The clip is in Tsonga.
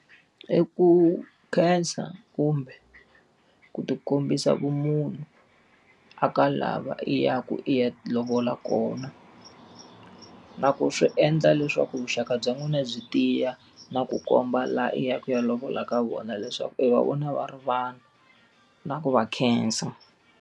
I ku khensa kumbe ku ti kombisa vumunhu a ka lava i ya ku i ya lovola kona. Na ku swi endla leswaku vuxaka bya n'wina byi tiya, na ku komba laha i ya ku i ya lovola ka vona leswaku i va vona va ri vanhu. Na ku va khensa.